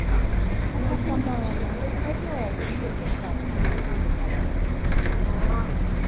Kata kamano, ka jo ot nyiso parogi e yo maler kendo gi luor, .